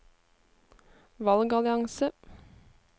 valgallianse